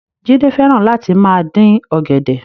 Jídé fẹ́ràn Láti máa dín ọ̀gẹ̀dẹ̀